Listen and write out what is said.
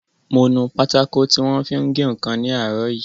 Mo nu pátákò tí wọ́n fi ń gé ǹkan ní àárọ̀ yìí